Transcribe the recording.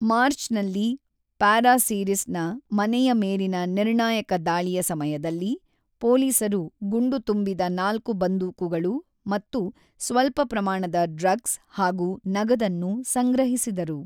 ಮಾರ್ಚ್‌ನಲ್ಲಿ ಪ್ಯಾರಾಸಿರಿಸ್‌ನ ಮನೆಯ ಮೇಲಿನ ನಿರ್ಣಾಯಕ ದಾಳಿಯ ಸಮಯದಲ್ಲಿ, ಪೋಲೀಸರು ಗುಂಡುತುಂಬಿದ ನಾಲ್ಕು ಬಂದೂಕುಗಳು ಮತ್ತು ಸ್ವಲ್ಪ ಪ್ರಮಾಣದ ಡ್ರಗ್ಸ್ ಹಾಗೂ ನಗದನ್ನು ಸಂಗ್ರಹಿಸಿದರು.